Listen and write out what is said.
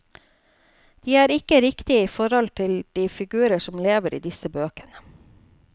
De er ikke riktige i forhold til de figurer som lever i disse bøkene.